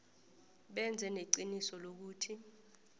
benze neqiniso lokuthi